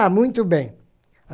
Tá, muito bem.